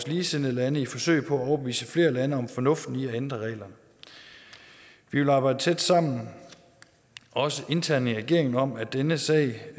ligesindede lande i forsøget på at overbevise flere lande om fornuften i at ændre reglerne vi vil arbejde tæt sammen også internt i regeringen om at denne sag